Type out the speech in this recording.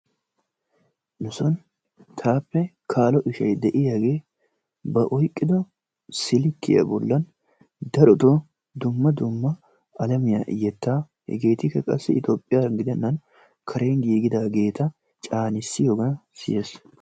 Nuson taappe kaalo ishay de'iyagee ba oyqiddo silkiya bollan darottoo dumma dumma alamiya yettaa hegettikka qassi Etoophphiyaga gidennan karen giggidaageta caannissiyogan siyees.